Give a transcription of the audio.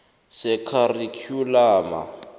sekharikhyulamu